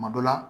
Kuma dɔ la